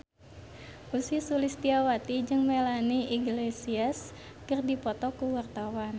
Ussy Sulistyawati jeung Melanie Iglesias keur dipoto ku wartawan